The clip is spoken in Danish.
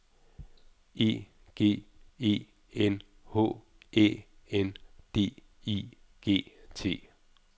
E G E N H Æ N D I G T